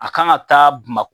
A kan ka taa Bamakɔ